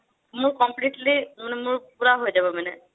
মোৰ completely মানে মোৰ পুৰা হৈ যাব মানে